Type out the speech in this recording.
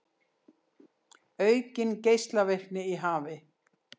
Aukin geislavirkni í hafi